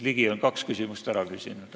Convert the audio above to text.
Ligi on kaks küsimust ära küsinud.